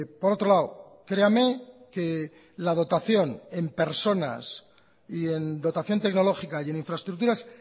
por otro lado creame que la dotación en personas y en dotación tecnológica y en infraestructuras